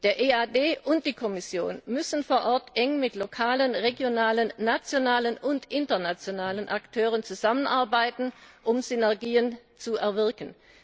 Der EAD und die Kommission müssen vor Ort eng mit lokalen, regionalen, nationalen und internationalen Akteuren zusammenarbeiten, um Synergien zu erwirken.